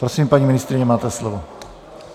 Prosím, paní ministryně, máte slovo.